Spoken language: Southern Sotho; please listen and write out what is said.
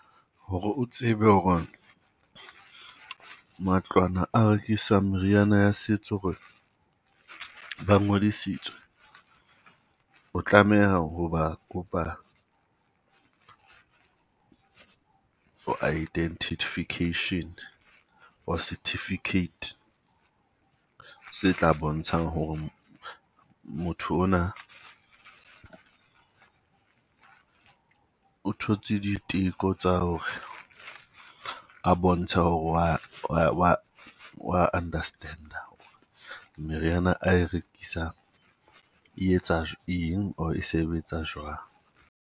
Ho re o tsebe ho re matlwana a rekisang meriana ya setso ho re ba ngodisitswe, o tlameha ho ba kopa for identification or certificate. Se tla bontshang ho re motho ona o thotse diteko tsa ho re a bontshe ho re wa wa wa understand-a meriana a e rekisang etsa eng or e sebetsa jwang?